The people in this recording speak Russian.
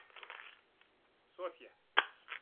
софья